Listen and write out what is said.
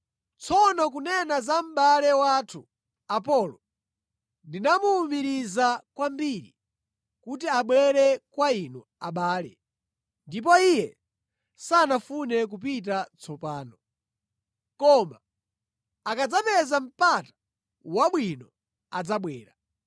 Tsono kunena za mʼbale wathu, Apolo, ndinamuwumiriza kwambiri kuti abwere kwa inu abale, ndipo iye sanafune kupita tsopano. Koma akadzapeza mpata wabwino adzabwera.